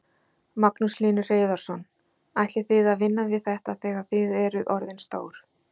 Magnús Hlynur Hreiðarsson: Ætlið þið að vinna við þetta þegar þið eruð orðin stór?